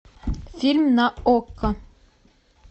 фильм на окко